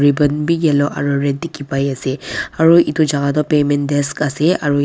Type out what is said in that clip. gan bi yellow aru red dikhi pai ase aru etu jaka toh payment desk ase aru.